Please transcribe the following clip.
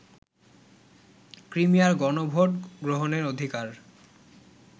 ক্রিমিয়ার গণভোট গ্রহণের অধিকার